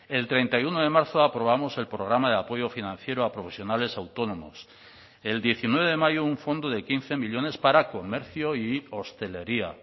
el treinta y uno de marzo aprobamos el programa de apoyo financiero a profesionales autónomos el diecinueve de mayo un fondo de quince millónes para comercio y hostelería